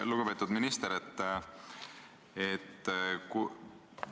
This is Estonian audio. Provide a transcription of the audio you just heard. Lugupeetud minister!